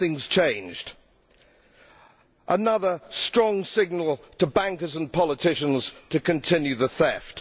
So nothing has changed. This is another strong signal to bankers and politicians to continue the theft.